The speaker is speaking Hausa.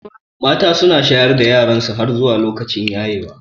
Mata su na shayar da yaransu har zuwa lokacin yayewa.